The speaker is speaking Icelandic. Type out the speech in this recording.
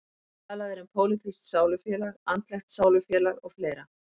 Talað er um pólitískt sálufélag, andlegt sálufélag og fleira.